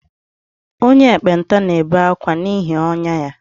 Onye ekpenta na-ebe akwa n’ihi ọnyá ya